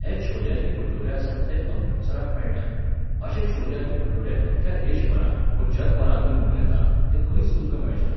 हे छोले आनी भटुरे आसात ते अमृतसराक मेळटात. अशे छोले आनी भटुरे अख्ख्या देशभरांत, वो जगभरांतूय म्हणूं येता, तें खंयच तुमकां मेळचे नात.